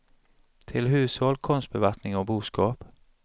Till hushåll, konstbevattning och boskap.